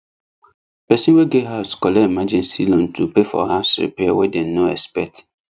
person wey get house collect emergency loan to pay for house repair wey dem no expect